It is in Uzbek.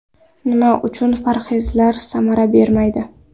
Nima uchun parhezlar samara bermaydi?.